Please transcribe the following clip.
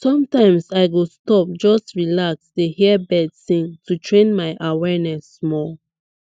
sometimes i go stop just relax dey hear birds sing to train my awareness small